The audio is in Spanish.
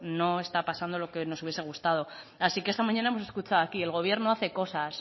no está pasando lo que nos hubiese gustado así que esta mañana hemos escuchado aquí el gobierno hace cosas